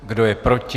Kdo je proti?